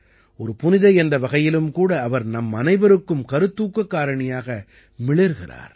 ஒரு புனிதை என்ற வகையிலும் கூட அவர் நம்மனைவருக்கும் கருத்துக்கக் காரணியாக மிளிர்கிறார்